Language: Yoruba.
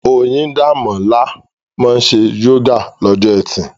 Oyindamola máa ń ṣe yoga lọ́jọ́ Ẹtì.